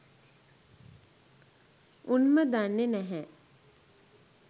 උන්ම දන්නෙ නැහැ